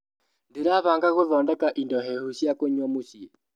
Ndĩrabanga gũthondeka indo hehu cia kũnyua mũcii.